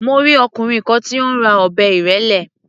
Mo rí ọkùnrin kan tí ó ń ra ọ̀bẹ ìrẹ́lé.